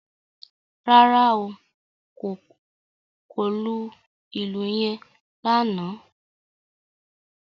Rárá o, kò lù ìlù yen lánàá